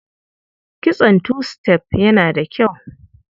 Kitson tu-sitef yana da kyau.